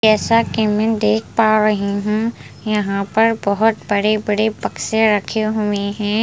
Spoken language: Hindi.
जैसा कि मैं देख पा रही हूँ यहाँ पर बहुत बड़े बड़े बक्से रखे हुए हैं।